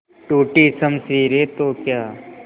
टूटी शमशीरें तो क्या